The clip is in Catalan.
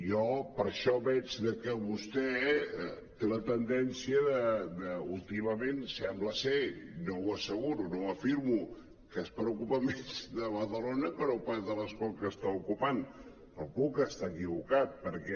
jo per això veig que vostè té la tendència últimament sembla no ho asseguro no ho afirmo que es preocupa més de badalona que no pas de l’escó que està ocupant però puc estar equivocat perquè